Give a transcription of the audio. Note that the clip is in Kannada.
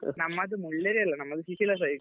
ನಮ್ಮದು ಮುಳ್ಳೇರಿಯಾ side ಅಲ್ಲ ಶಿಶಿಲ side .